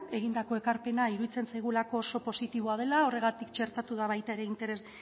egindako ekarpena iruditzen zaigulako oso positiboa dela horregatik txertatu da baita ere